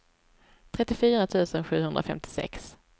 trettiofyra tusen sjuhundrafemtiosex